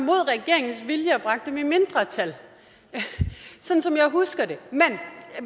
mod regeringens vilje og som bragte den i mindretal sådan som jeg husker det